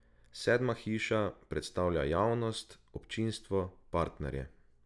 Sedma hiša predstavlja javnost, občinstvo, partnerje.